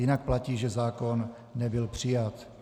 Jinak platí, že zákon nebyl přijat.